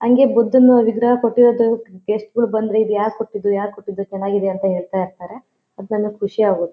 ಹಂಗೆ ಬುದ್ಧನ ವಿಗ್ರಹ ಕಟೆದು ಗೆಸ್ಟ್ ಗಳು ಬಂದ್ರೆ ಯಾರು ಕೊಟ್ಟಿದು ಯಾರು ಕೊಟ್ಟಿದು ಚನ್ನಾಗಿದೆ ಅಂತಾ ಹೇಳತ್ತಾ ಇರತ್ತಾರೆ ಅದ್ ನನ್ಗೆ ಖುಷಿ ಆಗುತ್ತೆ--